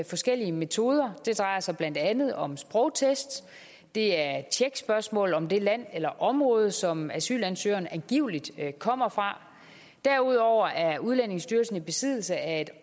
forskellige metoder det drejer sig blandt andet om sprogtest det er tjekspørgsmål om det land eller område som asylansøgeren angiveligt kommer fra derudover er udlændingestyrelsen i besiddelse af et